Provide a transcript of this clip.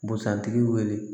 Busan tigi wele